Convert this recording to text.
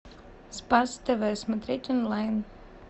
спас тв смотреть онлайн